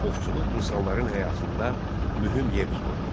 Ovçuluq insanların həyatında mühüm yer tuturdu.